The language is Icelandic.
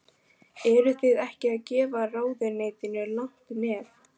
Eruð þið ekki að gefa ráðuneytinu langt nef?